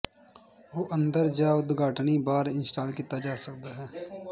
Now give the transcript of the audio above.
ਉਹ ਅੰਦਰ ਜ ਉਦਘਾਟਨੀ ਬਾਹਰ ਇੰਸਟਾਲ ਕੀਤਾ ਜਾ ਸਕਦਾ ਹੈ